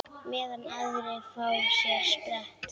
Meðan aðrir fá sér sprett?